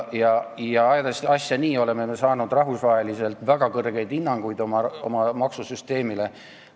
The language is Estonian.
Ajades asja nii, oleme me saanud rahvusvaheliselt väga kõrgeid hinnanguid oma maksusüsteemile.